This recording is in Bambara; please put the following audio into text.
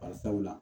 Barisabula